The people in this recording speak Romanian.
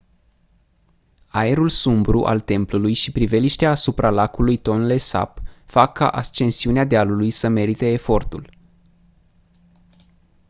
aerul sumbru al templului și priveliștea asupra lacului tonle sap fac ca ascensiunea dealului să merite efortul